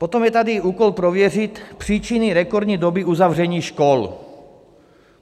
Potom je tady úkol "prověřit příčiny rekordní doby uzavření škol".